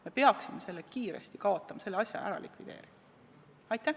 Me peaksime selle kiiresti kaotama, selle asja ära likvideerima.